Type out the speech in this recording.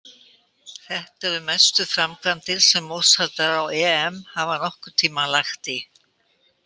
Þetta eru mestu framkvæmdir sem mótshaldarar á EM hafa nokkurn tímann lagt í.